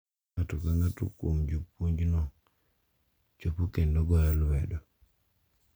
Ka ng’ato ka ng’ato kuom jopuonjno chopo kendo goyo lwedo,